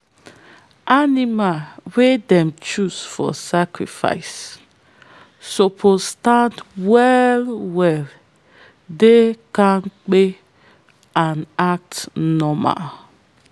animal wey them choose for sacrifice suppose stand well well dey kampe and act normal.